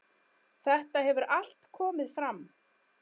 Þetta hefur allt komið fram.